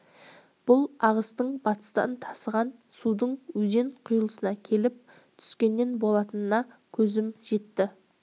бұл ағыстың батыстан тасыған судың өзен құйылысына келіп түскенінен болатынына көзім жетті